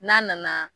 N'a nana